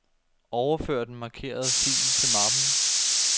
Overfør den markerede fil til mappen.